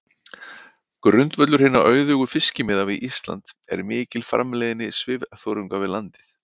Grundvöllur hinna auðugu fiskimiða við Ísland er mikil framleiðni svifþörunga við landið.